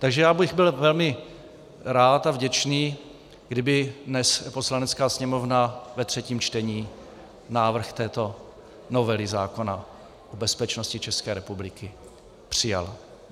Takže já bych byl velmi rád a vděčný, kdyby dnes Poslanecká sněmovna ve třetím čtení návrh této novely zákona o bezpečnosti České republiky přijala.